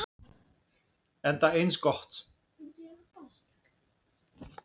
Enda eins gott.